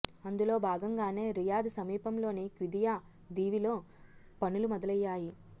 అందులో భాగంగానే రియాద్ సమీపంలోని క్విదియా దీవిలో పనులు మొదలయ్యాయి